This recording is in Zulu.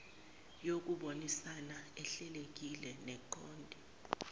yokubonisana ehlelekile neqonde